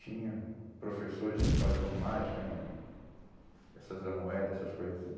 Tinha professores que faziam mágica né, essas da moeda, essas coisas assim.